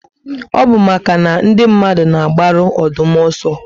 Ọ bu màkà na ndị mmadụ na agbaru Ọdụm ọsọ